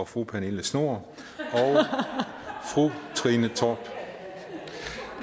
fru pernille schnoor og fru trine torp